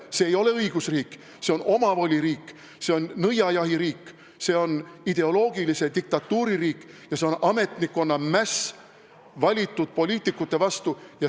See ei ole õigusriik, see on omavoliriik, see on nõiajahiriik, see on ideoloogilise diktatuuri riik ja see on ametnikkonna mäss valitud poliitikute vastu.